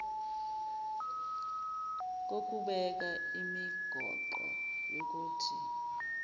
kokubeka imigoqo yokuthi